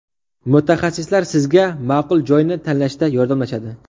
Mutaxassislar sizga ma’qul joyni tanlashda yordamlashadi.